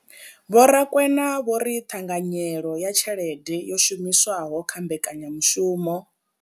Vho Rakwena vho ri ṱhanganyelo ya tshelede yo shumiswaho kha mbekanyamushumo.